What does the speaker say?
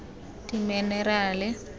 diminerale